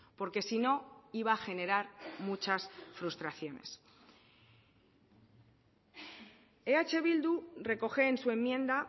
porque si no iba a generar muchas frustraciones eh bildu recoge en su enmienda